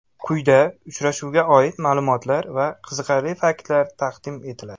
Quyida uchrashuvga oid ma’lumotlar va qiziqarli faktlar taqdim etiladi.